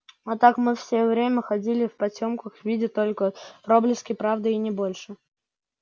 а так мы все время ходили в потёмках видя только проблески правды не больше